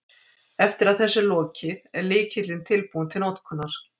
Eftir að þessu er lokið, er lykillinn tilbúinn til notkunar.